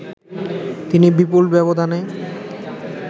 তিনি বিপুল ব্যবধানে